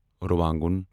رُوانگُن